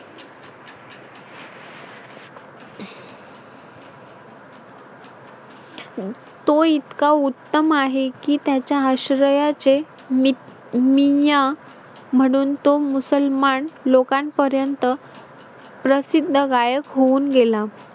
तो इतका उत्तम आहे कि त्याच्या आश्रयाचे मि मियाँ म्हणून तो मुसलमान लोकांपर्यत प्रसिद्ध गायक होऊन गेला.